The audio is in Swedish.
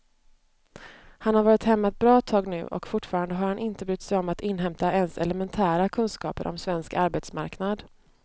Han har varit hemma ett bra tag nu och fortfarande har han inte brytt sig om att inhämta ens elementära kunskaper om svensk arbetsmarknad.